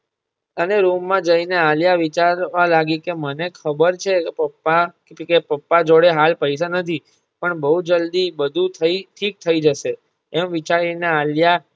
અને રૂમ માં જઈ ને આલિયા વિચારવા લાગી કે મને ખબર છે પપ્પા કે પપ્પા જોડે હાલ પૈસા નથી પણ બહુ જલ્દી બધુ થઈ ઠીક થઈ જશે બધુ એમ વિચારી ને આલિયા